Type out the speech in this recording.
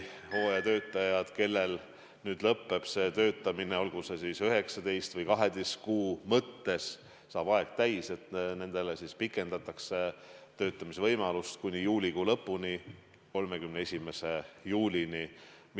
Hooajatöötajatele, kellel saab tööloa aeg täis, olgu see siis 19 või 12 kuud, pikendatakse töötamise võimalust kuni juulikuu lõpuni, 31. juulini.